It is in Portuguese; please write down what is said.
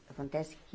Acontece que...